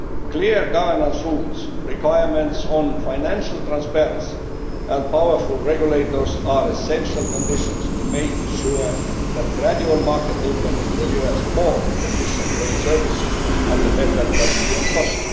Clear governance rules, requirements on financial transparency and powerful regulators are essential conditions to make sure that gradual market opening delivers more efficient rail services with better quality and cost.